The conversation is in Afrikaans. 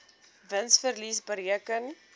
wins verlies bereken